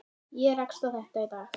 Ég rakst á þetta í dag.